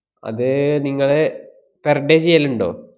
അത് നിങ്ങള് per day ചെയ്യലുണ്ടോ?